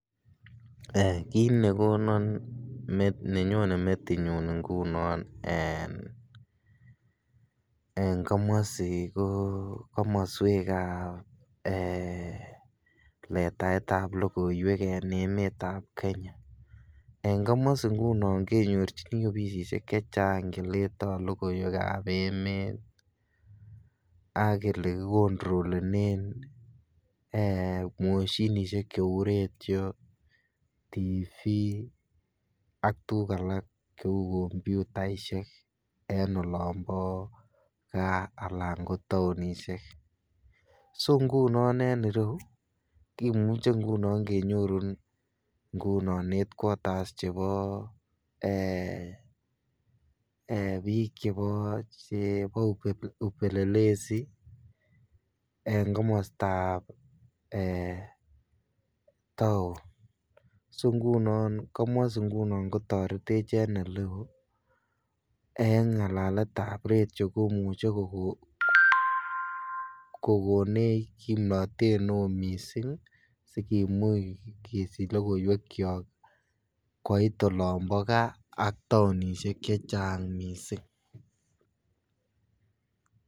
Ee kit negonon nenyone metinyun ngunon en komosii ko komoswek ab ee letaetab logoywek en emetab Kenya. En komosii ngunon ke nyorchini ofisisiek chechang che Leto logoywekab emet ak ole kicontrolenen ee moshinishek che uu redio, tv ak tuguk alak che uu computaishek en olombo gaa anan ko tounishek. So ngunon en ireyu kimuche ngunon kenyorun ngunon headquarters chebo ee biik chebo ubelelezi en komostab ee town, so ngunon komosii ngunon ko toretech en ele oo en ngalaletab retio komuche kokonech kimnotet ne oo missing sikimuch kesich logoywekyok koit olombo gaa ak tounishek chechang missing.